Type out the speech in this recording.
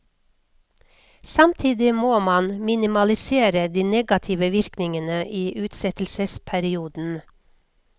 Samtidig må man minimalisere de negative virkningene i utsettelsesperioden.